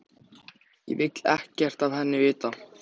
Ég vil ekkert af henni vita.